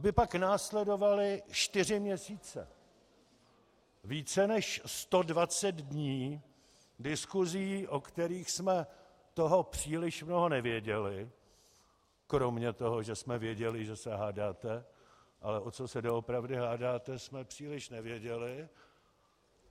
Aby pak následovaly čtyři měsíce, více než 120 dní diskusí, o kterých jsme toho příliš mnoho nevěděli kromě toho, že jsme věděli, že se hádáte, ale o co se doopravdy hádáte, jsme příliš nevěděli.